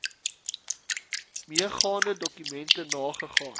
meegaande dokumente nagegaan